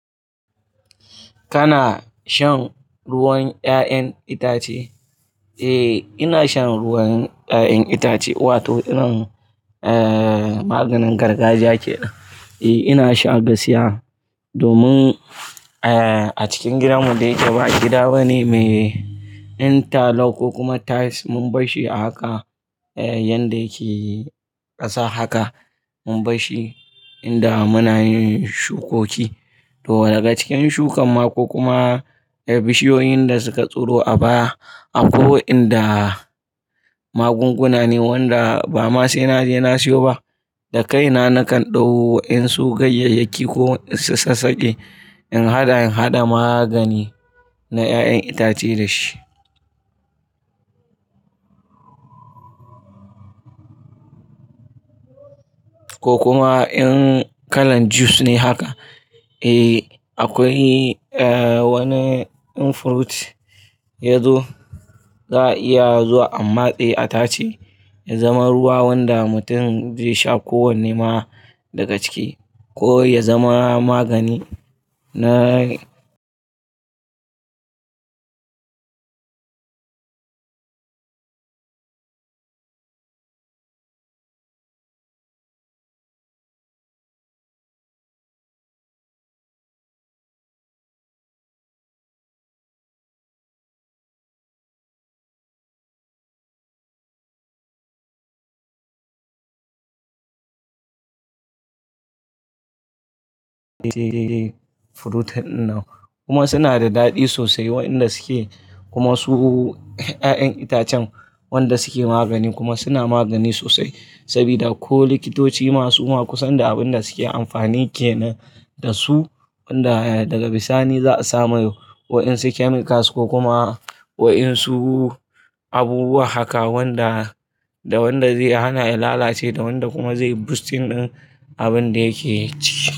Kana shan ruwan 'ya'yan itace? Eh, ina shan ruwan 'ya'yan itace wato irin, eh, maganin gargajiya kenan. Eh, ina sha gaskiya domin, eh, a cikin gidanmu dai da ba gida bane mai interlock, ko kuma tiles mun barshi a haka, eh, yanda yake ƙasa haka mun barshi inda muna yin shukoki. To daga cikin shukan ma ko kuma bishiyoyin da suka tsiro a baya, akwai inda magunguna ne wanda ba ma sai na je na sayo ba. Da kaina nakan ɗau waƴan su gayyayyaki ko in sassaƙe in haɗa, in haɗa magani na 'ya'yan itace dashi. Ko kuma in kalan juice ne haka, eh, akwai, eh, wani in fruit yazo za a iya zuwa a matse a tace ya zama ruwa wanda mutum zai sha kowanne ma daga ciki ko ya zama magani na fruit ɗin nan, kuma suna da daɗi sosai waƴanda suke kuma su 'ya'yan itacen wanda suke magani kuma suna magani sosai sabida ko likitoci ma suma kusan da abin da suke amfani kenan da su wanda daga bisani za a samu waƴansu chemicals ko kuma waƴansu abubuwa haka wanda, da wanda zai hana ya lalace da wanda kuma zai boosting ɗin abin da yake ci.